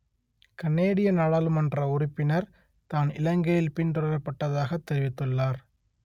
கனேடிய நாடாளுமன்ற உறுப்பினர் தான் இலங்கையில் பின்தொடரப்பட்டதாகத் தெரிவித்துள்ளார்